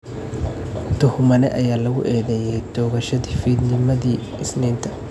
Tuhmane ayaa lagu eedeeyay toogashadii fiidnimadii Isniinta.